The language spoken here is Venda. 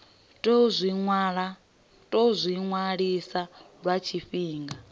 tou zwi vhilisa lwa tshifhinga